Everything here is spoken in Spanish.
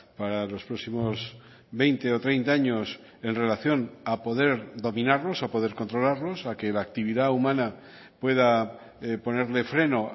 para los próximos veinte o treinta años en relación a poder dominarlos a poder controlarlos a que la actividad humana pueda ponerle freno